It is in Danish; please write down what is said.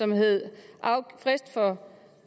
med frist for